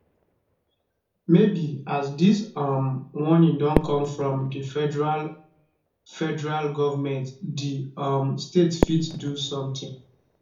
maybe as dis um warning don come from di federal federal goment di um state fit do sometin